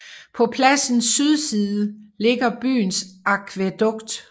På pladsens sydside ligger byens akvædukt